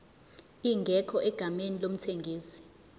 ingekho egameni lomthengisi